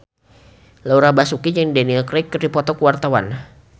Laura Basuki jeung Daniel Craig keur dipoto ku wartawan